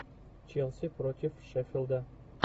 челси против шеффилда